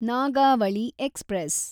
Nagavali express